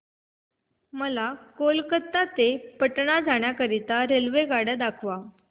मला कोलकता पासून पटणा जाण्या करीता रेल्वेगाड्या दाखवा